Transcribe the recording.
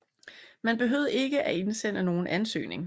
Man behøvede ikke at indsende nogen ansøgning